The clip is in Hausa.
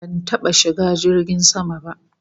Ban taba shiga jirgin sama ba